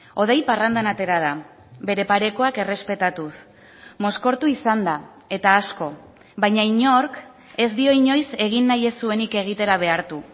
hodei parrandan atera da bere parekoak errespetatuz mozkortu izan da eta asko baina inork ez dio inoiz egin nahi ez zuenik egitera behartu